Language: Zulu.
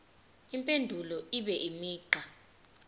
impendulo ibe imigqa